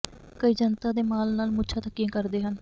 ਕਈ ਜਨਤਾ ਦੇ ਮਾਲ ਨਾਲ ਮੁੱਛਾਂ ਥੱਕੀਆਂ ਕਰਦੇ ਹਨ